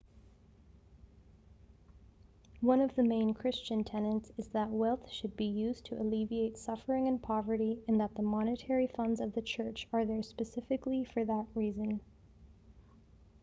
one of the main christian tenets is that wealth should be used to alleviate suffering and poverty and that the monetary funds of the church are there specifically for that reason